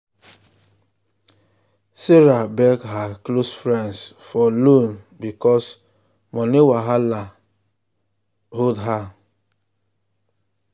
sarah beg her close friends for loan because money wahala because money wahala hold her.